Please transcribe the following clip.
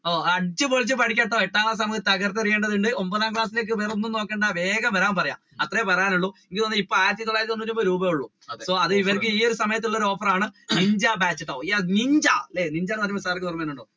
അടിച്ചു പൊളിച്ചു പഠിക്കട്ടോ എട്ടാം ക്ലാസ് നമ്മൾ തകർത്തെറിയേണ്ടതുണ്ട് ഒൻപതാം ക്ലാസ്സിലേക്ക് വേറെ ഒന്നും നോക്കണ്ട വേഗം വരാൻ പറയുക അത്രെയും പറയാനുള്ളു എനിക്ക് തോന്നുന്നു ഇപ്പൊ ആയിരത്തിതൊള്ളാരായിരത്തി തൊണ്ണൂറ്റിഒൻപത് രൂപയെ എള്ള് ഈ ഒരു സമയത്ത് ഉള്ള offer ആണ് നിഞ്ച batch നിന്ജ അല്ലെ sir ന് ഓര്മവരുന്നുണ്ടോ?